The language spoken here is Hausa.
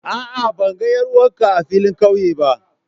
A'a ban ga 'yar'uwar ka a filin kauye ba.